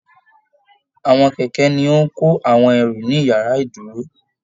Àwọn kẹkẹ ní o n kò àwọn ẹrú ní yàrá ìdúró